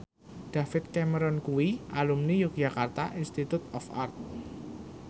David Cameron kuwi alumni Yogyakarta Institute of Art